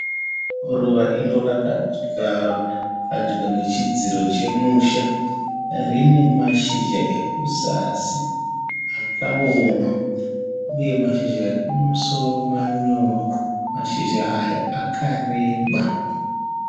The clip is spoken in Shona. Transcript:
Ruva iro rakajarwa padyo nechidziro chemusha rine mashizha ekuzasi akaoma uye mashizha ekumusoro manyoro, mashizha aya akareba.